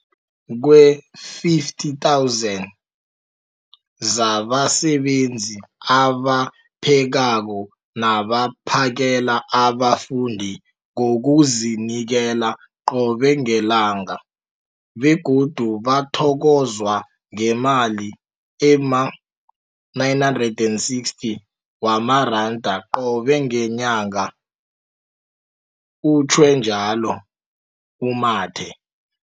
50 000 zabasebenzi abaphekako nabaphakela abafundi ngokuzinikela qobe ngelanga, begodu bathokozwa ngemali ema-960 wamaranda qobe ngenyanga, utjhwe njalo u-Mathe.